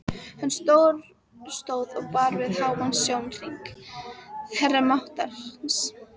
Hann stóð og bar við háan sjónhring, herra máttarins.